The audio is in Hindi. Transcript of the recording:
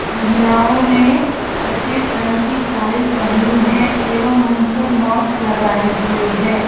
महिलाओं ने सफेद रंग की साड़ी पहनी है एवं मुंह पर मास्क लगाए हुए है।